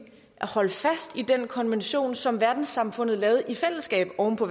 at holde fast i den konvention som verdenssamfundet lavede i fællesskab oven på